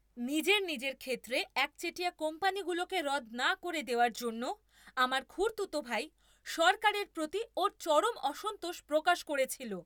নিজের নিজের ক্ষেত্রে একচেটিয়া কোম্পানিগুলোকে রদ না করে দেওয়ার জন্য আমার খুড়তুতো ভাই সরকারের প্রতি ওর চরম অসন্তোষ প্রকাশ করেছিল।